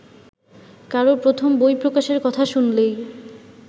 কারও প্রথম বই প্রকাশের কথা শুনলেই